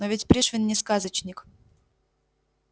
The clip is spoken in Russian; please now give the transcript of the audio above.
но ведь пришвин не сказочник